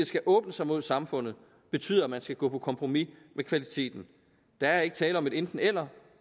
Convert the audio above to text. skal åbne sig mod samfundet betyder at man skal gå på kompromis med kvaliteten der er ikke tale om et enten eller